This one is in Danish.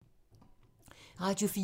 Radio 4